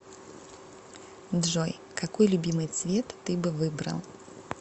джой какой любимый цвет ты бы выбрал